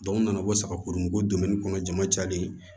n nana ko saga kurun bɔ kɔnɔ jama cayalen